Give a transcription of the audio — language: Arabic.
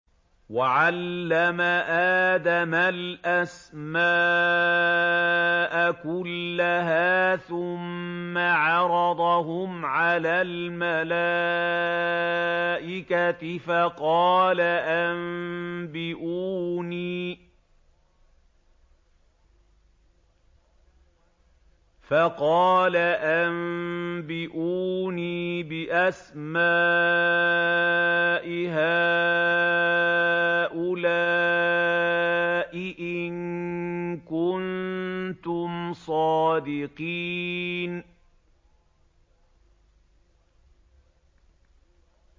وَعَلَّمَ آدَمَ الْأَسْمَاءَ كُلَّهَا ثُمَّ عَرَضَهُمْ عَلَى الْمَلَائِكَةِ فَقَالَ أَنبِئُونِي بِأَسْمَاءِ هَٰؤُلَاءِ إِن كُنتُمْ صَادِقِينَ